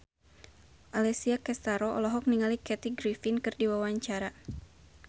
Alessia Cestaro olohok ningali Kathy Griffin keur diwawancara